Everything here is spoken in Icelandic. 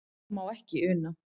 Við það má ekki una.